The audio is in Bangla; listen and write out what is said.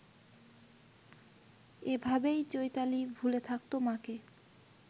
এভাবেই চৈতালি ভুলে থাকত মাকে